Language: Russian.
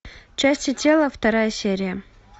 части тела вторая серия